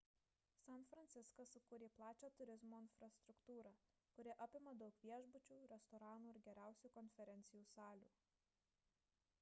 san franciskas sukūrė plačią turizmo infrastruktūrą kuri apima daug viešbučių restoranų ir geriausių konferencijų salių